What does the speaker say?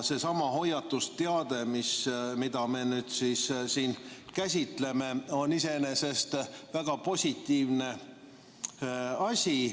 Seesama hoiatusteade, mida me nüüd siin käsitleme, on iseenesest väga positiivne asi.